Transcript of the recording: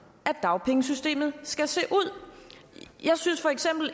at dagpengesystemet skal se ud jeg synes